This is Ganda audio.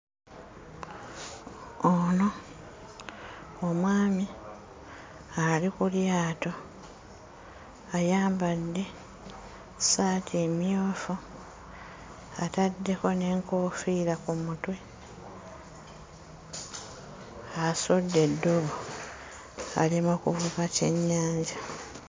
Ono omwami ali ku lyato, ayambadde ssaati emmyufu, ataddeko n'enkoofiira ku mutwe. Asudde eddobo ali mu kuvuba kyennyanja.